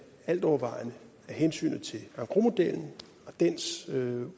altovervejende af hensyn til engrosmodellen og dens